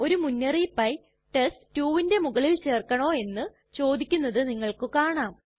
ഒരു മുന്നറിയിപ്പായി ചോദിക്കും test2ന് മുകളിൽ ചേർക്കണോ എന്ന് ചോദിക്കുന്നത് നിങ്ങൾക്ക് കാണാം